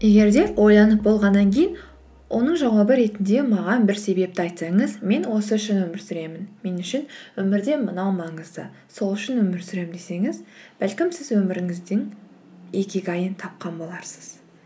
егер де ойланып болғаннан кейін оның жауабы ретінде маған бір себепті айтсаңыз мен осы үшін өмір сүремін мен үшін өмірде мынау маңызды сол үшін өмір сүремін десеңіз бәлкім сіз өміріңіздің икигайын тапқан боларсыз